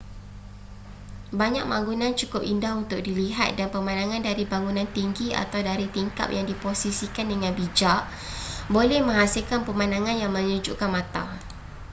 banyak bangunan cukup indah untuk dilihat dan pemandangan dari bangunan tinggi atau dari tingkap yang diposisikan dengan bijak boleh menghasilkan pemandangan yang menyejukkan mata